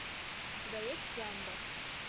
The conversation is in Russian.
у тебя есть гамба